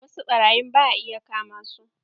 Wasu ɓarayin ba a iya kamasu.